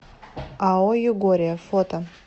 ао югория фото